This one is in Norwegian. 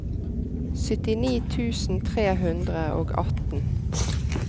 syttini tusen tre hundre og atten